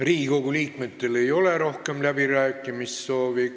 Riigikogu liikmetel rohkem läbirääkimissoovi ei ole.